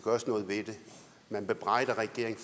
gøres noget ved det man bebrejder regeringen